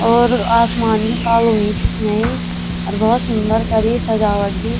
और आसमान भी कालु होयुं पिछने अर भौत सुंदर करी सजावट भी।